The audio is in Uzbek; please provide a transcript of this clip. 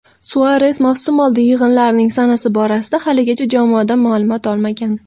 Suares mavsumoldi yig‘inlarining sanasi borasida haligacha jamoadan ma’lumot olmagan.